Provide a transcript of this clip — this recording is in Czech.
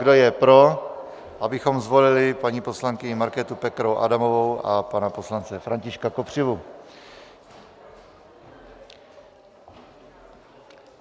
Kdo je pro, abychom zvolili paní poslankyni Markétu Pekarovou Adamovou a pana poslance Františka Kopřivu?